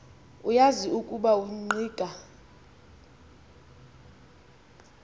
uyazi ukuba ungqika